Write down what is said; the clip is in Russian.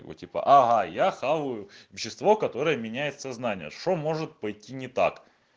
ну типа ага я хаваю вещество которое меняет сознание что может пойти не так